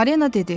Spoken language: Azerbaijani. Marina dedi: